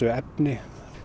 efni